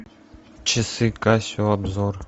часы касио обзор